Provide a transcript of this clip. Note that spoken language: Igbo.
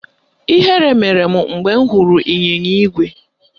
Ihere mere m mgbe m hụrụ ịnyịnya ígwè